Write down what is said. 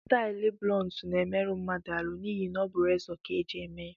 Stailu blunt na-emeru mmadụ ahụ, n’ihi na ọ bụ rezọ ka e ji eme ya